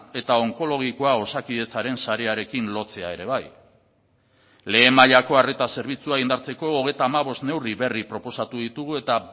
eta onkologikoa osakidetzaren sarearekin lotzea ere bai lehen mailako arreta zerbitzua indartzeko hogeita hamabost neurri berri proposatu ditugu eta